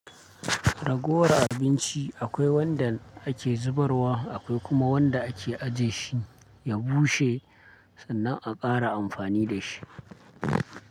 Ragowar abinci akwai wanda ake zubarwa akwai kuma wanda ake aje shi ya bushe, sannan a ƙara amfani da shi.